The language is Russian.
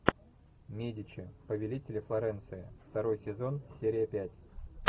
медичи повелители флоренции второй сезон серия пять